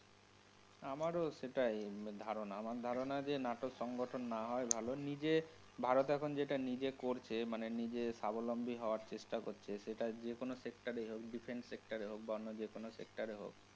আমারও সেটাই ধারণা। আমার ধারণা যে নাটোর সংগঠন না হওয়াই ভালো, নিজে ভারত এখন যেটা নিজে করছে, মানে নিজে সাবলম্বী হওয়ার চেষ্টা করছে সে যেকোনও sector ই হোক, defence sector এ হোক বা অন্য যেকোনো sector এ হোক.